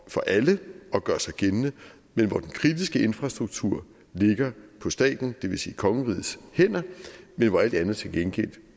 for alle at gøre sig gældende men hvor den kritiske infrastruktur ligger på staten det vil sige kongerigets hænder men hvor alt andet til gengæld